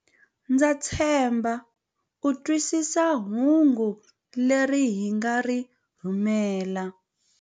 Ndza tshemba u twisisa hungu leri hi nga ri rhumela.